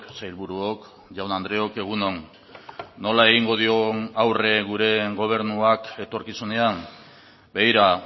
sailburuok jaun andreok egun on nola egingo dion aurre gure gobernuak etorkizunean begira